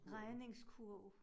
Regningskurv